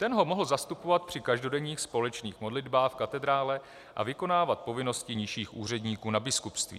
Ten ho mohl zastupovat při každodenních společných modlitbách v katedrále a vykonávat povinnosti nižších úředníků na biskupství.